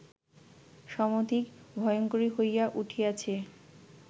সমধিক ভয়ঙ্করী হইয়া উঠিয়াছে